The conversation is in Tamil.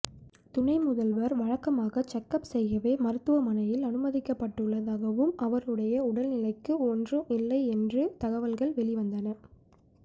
துணை முதல்வர் வழக்கமான செக்கப் செய்யவே மருத்துவமனையில் அனுமதிக்கப்பட்டுள்ளதாகவும் அவருடைய உடல்நிலைக்கு ஒன்று இல்லை என்றும் தகவல்கள் வெளிவந்தன